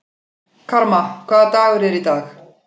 Karma, hvaða dagur er í dag?